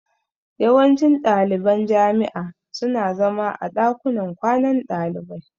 Yawancin ɗaliban jami'a su na zama a ɗakunan kwanan ɗalibai